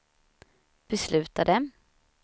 beslutade